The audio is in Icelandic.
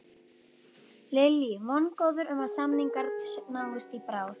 Lillý: Vongóður um að samningar náist í bráð?